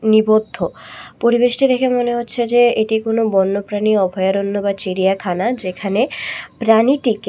নিবদ্ধ পরিবেশটি দেখে মনে হচ্ছে যে এটি কোন বন্যপ্রাণী অভয়ারণ্য বা চিড়িয়াখানা যেখানে প্রাণীটিকে--